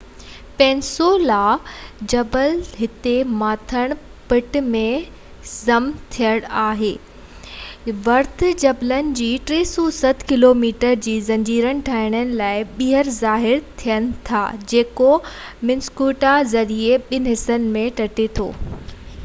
peninsula جا جبل هتي مٿانهن پٽ ۾ ضم ٿين ٿا پوءِ ايلس ورٿ جبلن جي 360 ڪلوميٽر جي زنجير ٺاهڻ لاءِ ٻيهر ظاهر ٿين ٿا جيڪو منيسوٽا گليشير ذريعي ٻن حصن ۾ ٽٽي ٿو